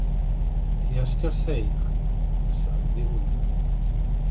Ég skal þegja, sagði Úlfur.